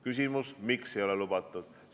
Küsimus: miks ei ole lubatud?